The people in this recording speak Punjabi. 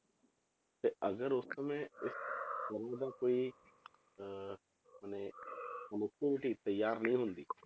ਤੇ ਅਗਰ ਉਸ ਸਮੇਂ ਸਕੂਲ ਦਾ ਕੋਈ ਅਹ ਮਨੇ connectivity ਤਿਆਰ ਨਹੀਂ ਹੁੰਦੀ